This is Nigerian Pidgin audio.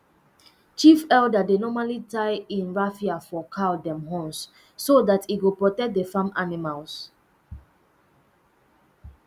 chief elder dey normally tie um raffia for cow um horns so that e go protect the farm animals